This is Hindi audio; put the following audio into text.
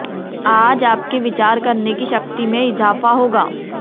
आज आपके विचार करने की शक्ति में इजाफा होगा